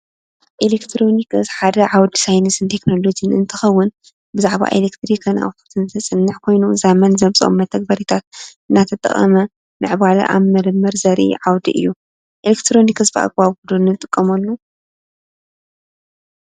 ኤሌክትሮኒክስ ሓደ ዓዉደ ሳይነስ ቴክኖሎጂ እንትኸዉን ብዛዕባ ኤሌትሪክንኣውትፑትን ዘፅንሕ ኮይኑ ዘመን ዘምፅኦም መተግበሪታት እናተጠቀመ ምዕባለ አብ ምርምር ዘርኢ ዓወዲ እዩ፡፡ ኤሌክትሮኒክስ ብኣግባቡ ዶ ንጥቀመሉ?